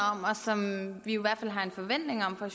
som vi i hvert fald har en forventning om fra